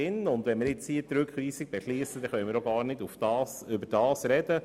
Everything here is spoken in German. Wenn wir hier die Rückweisung beschliessen, können wir nicht darüber reden.